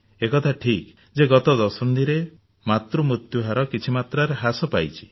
ଏ କଥା ଠିକ ଯେ ଗତ ଦଶନ୍ଧିରେ ମାତୃ ମୃତ୍ୟୁହାର କିଛି ମାତ୍ରାରେ ହ୍ରାସ ପାଇଛି